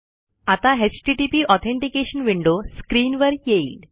आता HTTP authentication window स्क्रीनवर येईल